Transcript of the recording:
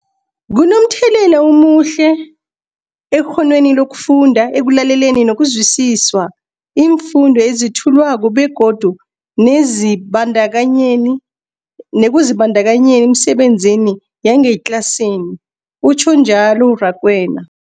Kunomthelela omuhle ekghonweni lokufunda, ekulaleleni nokuzwisiswa iimfundo ezethulwako begodu nekuzibandakanyeni emisebenzini yangetlasini, utjhwe njalo uRakwena.